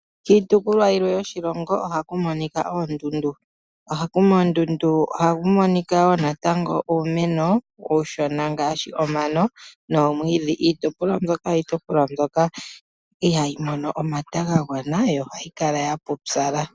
Kiitopolwa yimwe yoshilongo ohaku monika oondundu, komandundu ohaku monika wo natango uumeno uushona ngaashi omano nomwiidhi. Iitopolwa mbyoka, oyo iitopolwa mbyoka ihayi mono omata ga gwana yo ohayi kala ya pupyala.